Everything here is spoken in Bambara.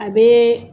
A bɛ